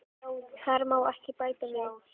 Þar má ekki bæta við.